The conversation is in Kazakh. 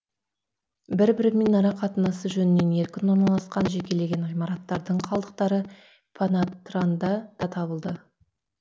бір бірімен арақатынасы жөнінен еркін орналасқан жекелеген ғимараттардың қалдықтары панатранда да табылды